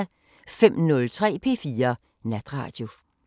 05:03: P4 Natradio